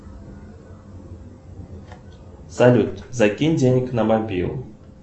салют закинь денег на мобилу